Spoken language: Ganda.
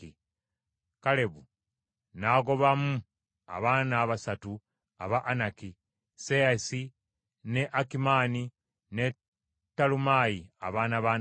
Kalebu n’agobamu abaana abasatu aba Anaki: Sesayi ne Akimaani, ne Talumaayi, abaana ba Anaki.